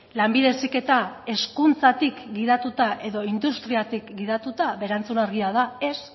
lanbide heziketa hezkuntzatik gidatuta edo industriatik gidatuta eta erantzun argia da ez